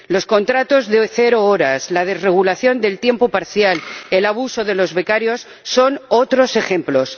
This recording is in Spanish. Los contratos de cero horas, la desregulación del tiempo parcial, el abuso de los becarios son otros ejemplos.